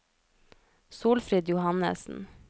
Solfrid Johannessen